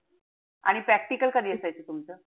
आणि practical कधी असायचं तुमचं?